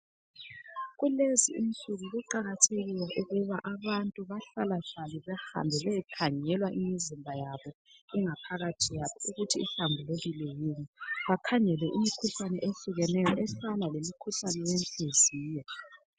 Kulezi insuku kuqakathekile ukuba abantu bahlala hlale bahambe beyekhangelwa imizimba yabo .Ingaphakathi yabo ukuthi ihlambulukile yini. Bakhangele imikhuhlane ehlukeneyo efana lomkhuhlane wenhliziyo .